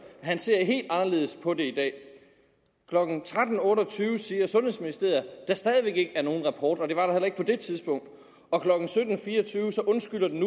han ser helt anderledes på det i dag klokken tretten otte og tyve siger sundhedsministeriet at der stadig væk ikke er nogen rapport og det var der heller ikke på det tidspunkt og klokken sytten fire og tyve undskylder den